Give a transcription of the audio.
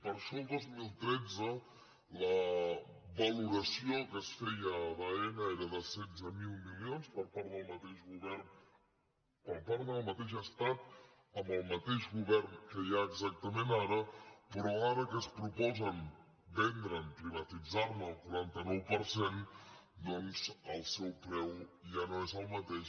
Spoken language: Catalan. per això el dos mil tretze la valoració que es feia d’aena era de setze mil milions per part del mateix estat amb el mateix govern que hi ha exactament ara però ara que es proposen vendre’n privatitzar ne el quaranta nou per cent doncs el seu preu ja no és el mateix